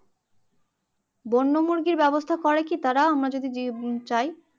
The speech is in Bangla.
বন্যমুরগির ব্যবস্থা কি করে তারা আমরা যদি চাই